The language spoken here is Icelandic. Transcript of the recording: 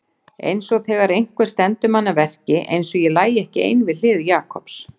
Einsog þegar einhver stendur mann að verki, einsog ég lægi ekki ein við hlið Jakobs.